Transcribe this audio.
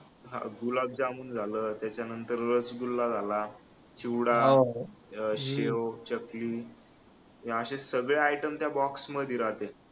गुलाब जामुन झालं त्याच्यानंतर रसगुल्ला झाला चिवडा शेव चकली हे असे सगळे item त्या box मध्ये राहतात